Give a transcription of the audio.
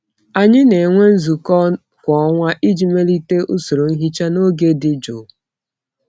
Anyị na-enwe nzukọ kwa ọnwa iji melite usoro nhicha na oge dị jụụ.